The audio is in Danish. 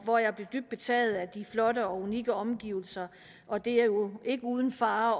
hvor jeg blev dybt betaget af de flotte og unikke omgivelser og det er jo ikke uden fare